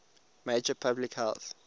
major public health